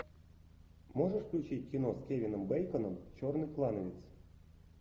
можешь включить кино с кевином бейконом черный клановец